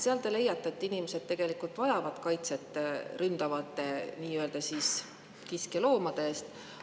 Seal te leiate, et inimesed vajavad kaitset ründavate nii-öelda kiskjaloomade eest.